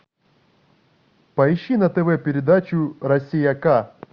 поищи на тв передачу россия к